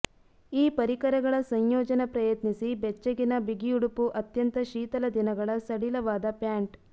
ಈ ಪರಿಕರಗಳ ಸಂಯೋಜನ ಪ್ರಯತ್ನಿಸಿ ಬೆಚ್ಚಗಿನ ಬಿಗಿಯುಡುಪು ಅತ್ಯಂತ ಶೀತಲ ದಿನಗಳ ಸಡಿಲವಾದ ಪ್ಯಾಂಟ್